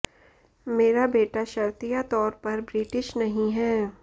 मेरा बेटा शर्तिया तौर पर ब्रिटिश नहीं है